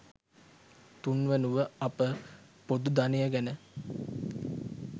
තුන්වනුව අප ''පොදු ධනය'' ගැන